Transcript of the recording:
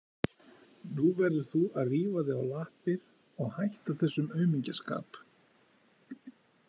Nú verður þú að rífa þig á lappir og hætta þessum aumingjaskap.